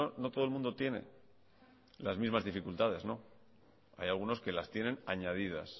no todo el mundo tiene las mismas dificultades hay algunos que las tienen añadidas